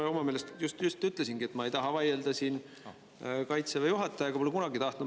Ei, ma oma meelest just ütlesingi, et ma ei taha vaielda Kaitseväe juhatajaga, pole kunagi tahtnud.